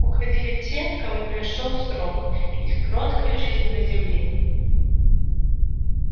уходили те кому пришёл срок их короткой жизни на земле